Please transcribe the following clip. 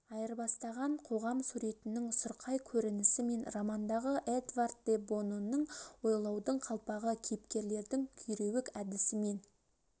айырбастаған қоғам суретінің сұрқай көрінісі мен романдағы эдвард де бононың ойлаудың қалпағы кейіпкерлердің күйреуік әдісімен